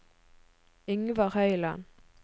Yngvar Høyland